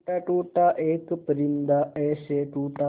टूटा टूटा एक परिंदा ऐसे टूटा